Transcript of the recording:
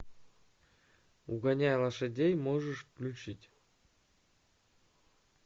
угоняя лошадей можешь включить